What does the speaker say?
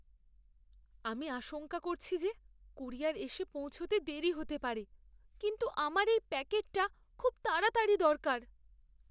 আমি আশঙ্কা করছি যে কুরিয়ার এসে পৌঁছতে দেরি হতে পারে, কিন্তু আমার এই প্যাকেটটা খুব তাড়াতাড়ি দরকার।